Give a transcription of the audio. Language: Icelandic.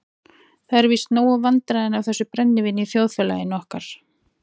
Það eru víst nóg vandræðin af þessu brennivíni í þjóðfélagi okkar.